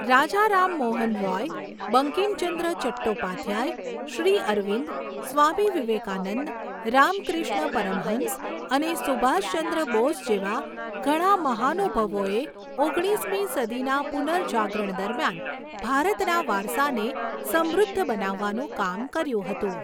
રાજા રામમોહન રૉય, બંકિમચંદ્ર ચટ્ટોપાધ્યાય, શ્રી અરવિંદ, સ્વામી વિવેકાનંદ, રામક્રિષ્ન પરમહંસ અને સુભાષચંદ્ર બોઝ જેવા ઘણા મહાનુભાવોએ ઓગણીસમી સદીના પુનર્જાગરણ દરમિયાન ભારતના વારસાને સમૃદ્ધ બનાવવાનું કામ કર્યું હતું.